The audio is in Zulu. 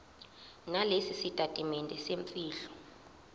nalesi sitatimende semfihlo